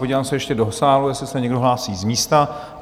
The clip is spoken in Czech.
Podívám se ještě do sálu, jestli se někdo hlásí z místa.